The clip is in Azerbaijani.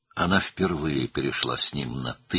O, ilk dəfə onunla sənli-mənli danışdı.